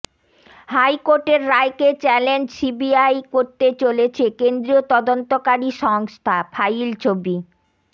হাইকোর্টের রায়কে challenge CBI করতে চলেছে কেন্দ্রীয় তদন্তকারী সংস্থা ফাইল ছবি